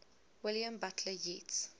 william butler yeats